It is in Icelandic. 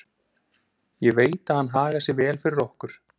Ég veit að hann hagar sér vel fyrir okkur.